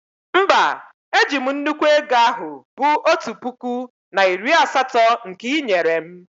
mba, eji'm nnukwu ego ahu bụ otu puku na iri asatọ nke ị nyere m